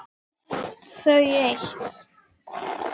Finnst þau eitt.